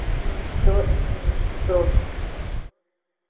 но всё это между прочим